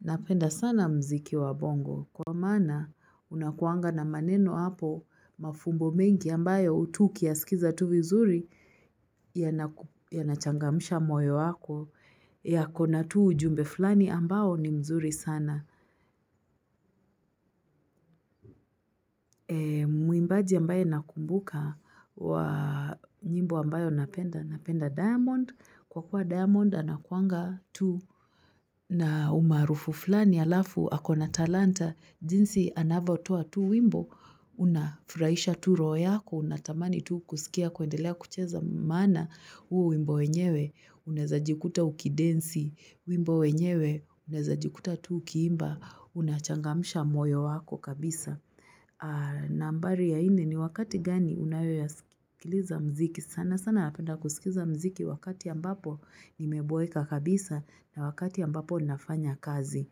Napenda sana muziki wa bongo kwa maana unakuanga na maneno hapo, mafumbo mengi ambayo tu ukiyasikiza tu vizuri yanachangamsha moyo wako, yako na tu ujumbe fulani ambao ni mzuri sana. Mwimbaji ambaye nakumbuka wa nyimbo ambayo napenda. Napenda Diamond kwa kuwa Diamond anakuanga tu na umaarufu fulani halafu ako na talanta jinsi anavyotoa tu wimbo. Unafurahisha tu roho yako, unatamani tu kusikia kuendelea kucheza maana huo wimbo wenyewe unaweza jikuta ukidensi wimbo wenyewe unaweza jikuta tu ukiimba unachangamsha moyo wako kabisa nambari ya nne ni wakati gani unayoyasikiliza muziki? Sana sana napenda kusikiza muziki wakati ambapo nimeboeka kabisa na wakati ambapo ninafanya kazi.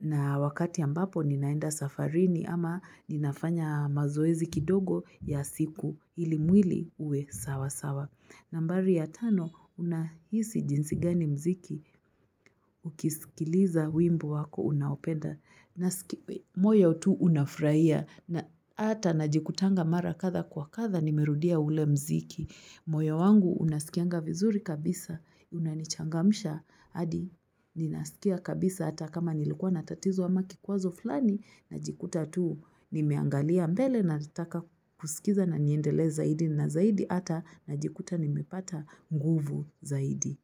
Na wakati ambapo ninaenda safarini ama ninafanya mazoezi kidogo ya siku ili mwili uwe sawa sawa. Nambari ya tano, unahisi jinsi gani muziki ukisikiliza wimbo wako unaopenda? Moyo tu unafurahia na hata najikutanga mara kadha kwa kadha nimerudia ule muziki. Moyo wangu unasikianga vizuri kabisa, unanichangamsha hadi ninasikia kabisa hata kama nilikuwa na tatizo ama kikwazo fulani, najikuta tu nimeangalia mbele nataka kusikiza na niendelee zaidi na zaidi hata najikuta nimepata nguvu zaidi.